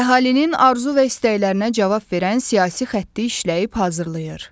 Əhalinin arzu və istəklərinə cavab verən siyasi xətti işləyib hazırlayır.